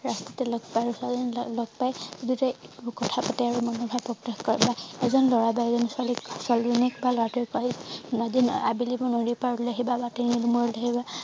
ৰস্তাতে লগ পায় আৰু ছোৱালী জনীক লগ পায় আৰু দুইটাই বুকুত হাবতে আৰু মনৰ ভাব প্ৰকাশ কৰে বা এজন লৰা বা এজনি ছোৱালীক ছোৱালী জনীক বা লৰাটোৱে আজি আবেলি পৰত নদীৰ পাৰলে আহিব বা তিনি আলিৰ মূৰত ৰৈ থাকিবা